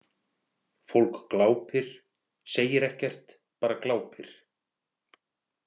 Fólk glápir, segir ekkert, bara glápir.